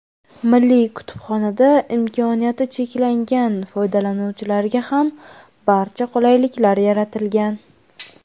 Milliy kutubxonada imkoniyati cheklangan foydalanuvchilarga ham barcha qulayliklar yaratilgan.